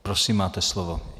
Prosím, máte slovo.